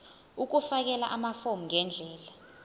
ukufakela amafomu ngendlela